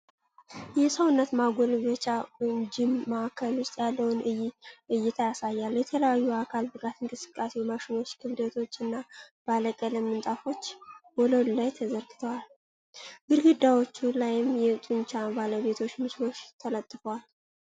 የሰውነት ማጎልበቻ (ጂም) ማዕከል ውስጥ ያለውን ዕይታ ያሳያል። የተለያዩ የአካል ብቃት እንቅስቃሴ ማሽኖች፣ ክብደቶች፣ እና ባለቀለም ምንጣፎች ወለሉ ላይ ተዘርግተዋል። ግድግዳዎቹ ላይም የጡንቻ ባለቤቶች ምስሎች ተለጥፈዋል።